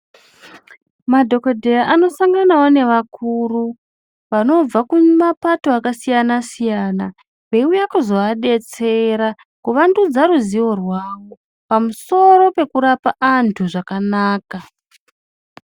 Madhokodheya anosanganawo neakuru vanobva kumapato akasiyana siyana veiuya kuzoadetsera kuwandudza ruzivo rwawo pamusoro pekurapa antu zvakanaka.